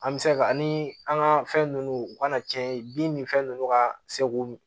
An bɛ se ka ani an ka fɛn ninnu u kana cɛn ye bin ni fɛn ninnu ka se k'u